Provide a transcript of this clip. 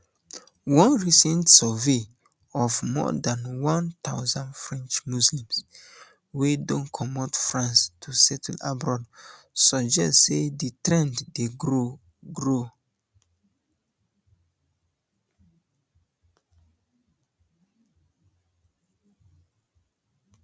one recent survey of more dan one thousand french muslims wey don comot france to settle abroad suggest say di trend dey grow grow